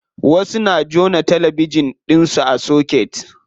Wasu na jona talabijin ɗinsu a soket.